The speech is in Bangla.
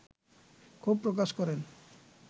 ক্ষোভ প্রকাশ করেন